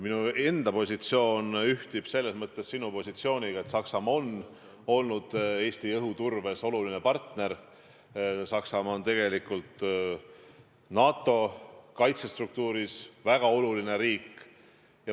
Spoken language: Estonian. Minu enda positsioon ühtib selles mõttes sinu positsiooniga, et Saksamaa on olnud Eestile õhuturbes oluline partner, Saksamaa on tegelikult NATO kaitsestruktuuris väga oluline riik.